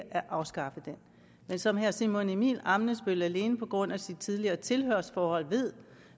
at afskaffe den men som herre simon emil ammitzbøll alene på grund af sit tidligere tilhørsforhold ved